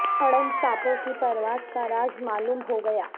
اڑن سانپوں کی پرواز کا راز معلوم ہو گیا